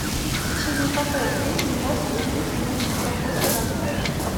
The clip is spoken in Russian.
в течении какого времени можно делить имущество после развода